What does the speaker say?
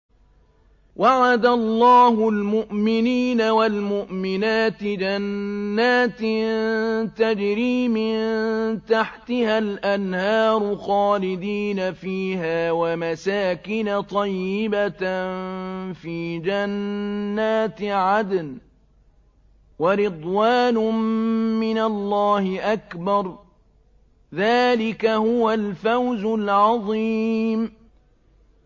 وَعَدَ اللَّهُ الْمُؤْمِنِينَ وَالْمُؤْمِنَاتِ جَنَّاتٍ تَجْرِي مِن تَحْتِهَا الْأَنْهَارُ خَالِدِينَ فِيهَا وَمَسَاكِنَ طَيِّبَةً فِي جَنَّاتِ عَدْنٍ ۚ وَرِضْوَانٌ مِّنَ اللَّهِ أَكْبَرُ ۚ ذَٰلِكَ هُوَ الْفَوْزُ الْعَظِيمُ